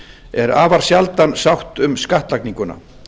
er afar sjaldan sátt um skattlagninguna